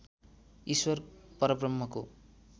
ईश्वर परब्रह्मको